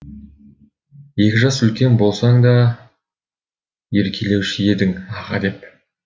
екі жас үлкен болсаң да еркелеуші едің аға деп